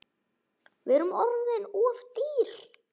Við erum orðin of dýr.